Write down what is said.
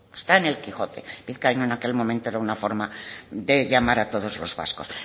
está en el quijote vizcaíno en aquel momento era una forma de llamar a todos los vascos